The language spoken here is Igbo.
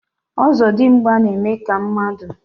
ọzọdimgba na-eme ka mmadụ.